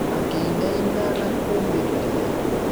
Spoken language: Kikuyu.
Akĩinaina na kũũmĩrĩria.